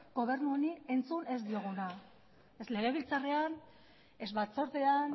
gobernu honi entzun ez dioguna ez legebiltzarrean ez batzordean